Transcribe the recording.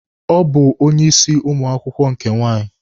Ọ bụ onye isi ụmụ akwụkwọ nke nwaanyị.